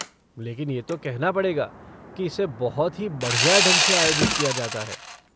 लेकिन ये तो कहना पड़ेगा की इसे बहुत ही बढ़िया ढंग से आयोजित किया जाता है।